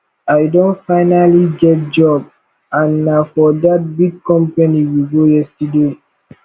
i don finally get job and na for dat big company we go yesterday